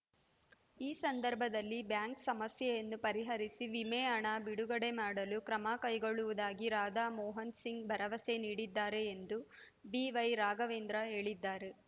ಈ ಸಂದರ್ಭದಲ್ಲಿ ಬ್ಯಾಂಕ್‌ ಸಮಸ್ಯೆಯನ್ನು ಪರಿಹರಿಸಿ ವಿಮೆ ಹಣ ಬಿಡುಗಡೆ ಮಾಡಲು ಕ್ರಮ ಕೈಗೊಳ್ಳುವುದಾಗಿ ರಾಧಾ ಮೋಹನ್‌ ಸಿಂಗ್‌ ಭರವಸೆ ನೀಡಿದ್ದಾರೆ ಎಂದು ಬಿವೈರಾಘವೇಂದ್ರ ಹೇಳಿದ್ದಾರೆ